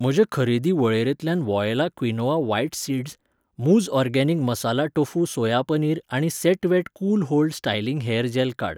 म्हजे खरेदी वळेरेंतल्यान वॉयला क्विनोआ व्हायट सीडस्, मुझ organic masala tofu soya paneer आनी set wet cool hold styling hair gel काड.